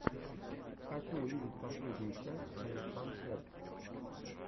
хочу увидеть последнюю часть алексанпоб